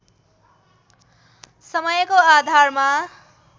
समयको आधारमा